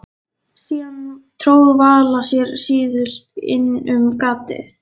Síðan tróð Vala sér síðust inn um gatið.